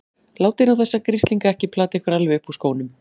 Látið nú þessa grislinga ekki plata ykkur alveg upp úr skónum!